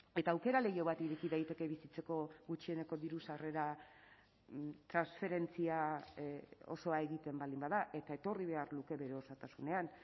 eta aukera leiho bat ireki daiteke bizitzeko gutxieneko diru sarrera transferentzia osoa egiten baldin bada eta etorri behar luke bere osotasunean